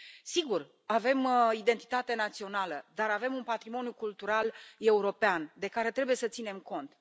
Sigur, avem identitate națională, dar avem un patrimoniul cultural european de care trebuie să ținem cont.